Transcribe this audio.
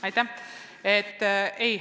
Aitäh!